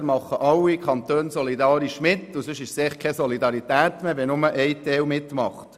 Entweder machen alle Kantone solidarisch mit, oder es ist einfach keine Solidarität mehr, wenn nur ein Teil mitmacht.